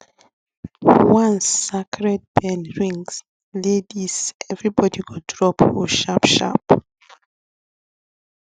once sacred bell ring laidis everybody go drop hoe sharpsharp